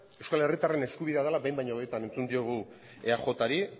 euskal herritarren eskubidea dela behin baino gehiagotan entzun diogu eajri